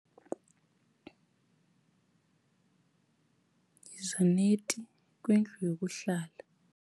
Yiza neti kwindlu yokuhlala.